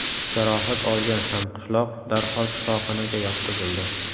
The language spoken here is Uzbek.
Jarohat olgan hamqishloq darhol shifoxonaga yotqizildi.